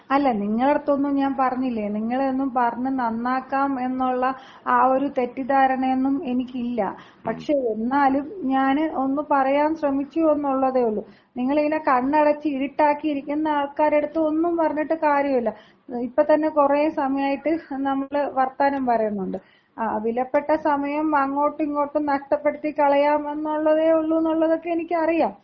അല്ല നിങ്ങൾടടുത്തൊന്നും ഞാൻ പറഞ്ഞില്ലേ, നിങ്ങളെയൊന്നും പറഞ്ഞ് നന്നാക്കാം എന്നുള്ള ആ ഒരു തെറ്റിദ്ധാരണയൊന്നും എനിക്കില്ല. പക്ഷേ, എന്നാലും ഞാന് ഒന്ന് പറയാൻ ശ്രമിച്ചു എന്നുള്ളതേയുള്ളൂ. നിങ്ങളിങ്ങനെ കണ്ണടച്ച് ഇരുട്ടാക്കി ഇരിക്കുന്ന ആൾക്കാരടുത്ത് ഒന്നും പറഞ്ഞിട്ട് കാര്യമില്ല. ഇപ്പത്തന്നെ കുറേസമയായിട്ട് നമ്മള് വർത്തമാനം പറയുന്നുണ്ട്. വിലപ്പെട്ട സമയം അങ്ങോട്ടുട്ടിങ്ങോട്ടും നഷ്ടപ്പെടുത്തിക്കളയാം എന്നുള്ളതേയുള്ളൂ എന്നൊക്കെ എനിക്കറിയാം.